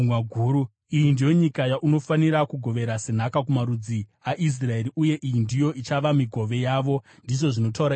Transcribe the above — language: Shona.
“Iyi ndiyo nyika yaunofanira kugovera senhaka kumarudzi aIsraeri, uye iyi ndiyo ichava migove yavo,” ndizvo zvinotaura Ishe Jehovha.